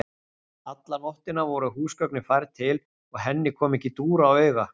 Alla nóttina voru húsgögnin færð til, og henni kom ekki dúr á auga.